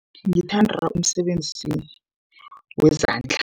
Ngithanda umsebenzi wezandla.